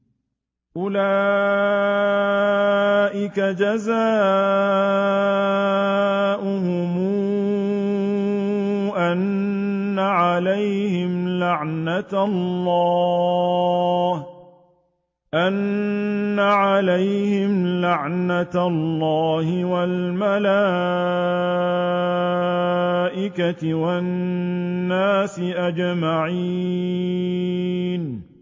أُولَٰئِكَ جَزَاؤُهُمْ أَنَّ عَلَيْهِمْ لَعْنَةَ اللَّهِ وَالْمَلَائِكَةِ وَالنَّاسِ أَجْمَعِينَ